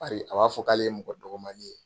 Bari a b'a fɔ k'ale ye mɔgɔ dɔgɔmali ye.